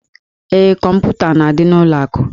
Ee, kọmputa na-adị n'ụlọ akụ.